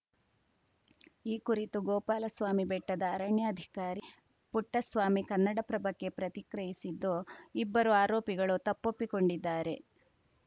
ಈ ಕುರಿತು ಗೋಪಾಲಸ್ವಾಮಿ ಬೆಟ್ಟದ ಅರಣ್ಯಾಧಿಕಾರಿ ಪುಟ್ಟಸ್ವಾಮಿ ಕನ್ನಡಪ್ರಭಕ್ಕೆ ಪ್ರತಿಕ್ರಿಯಿಸಿದ್ದು ಇಬ್ಬರು ಆರೋಪಿಗಳು ತಪ್ಪೊಪ್ಪಿಕೊಂಡಿದ್ದಾರೆ